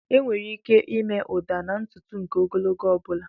Enwere ike ịme ụda na ntutu nke ogologo ọ bụla.